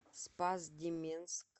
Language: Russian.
спас деменск